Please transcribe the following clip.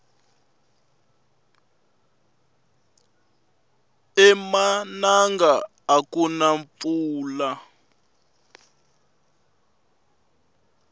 emananga akuna mpfula